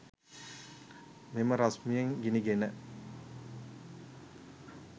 මෙම රශ්මියෙන් ගිනිගෙන